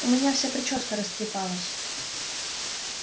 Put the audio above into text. у меня вся причёска растрепалась